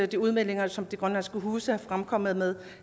de udmeldinger som de grønlandske huse er kommet med